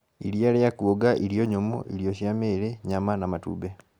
Iria rĩa kuonga, irio nyũmũ, irio cia mĩri, nyam ana matumbĩ